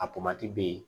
A bɛ yen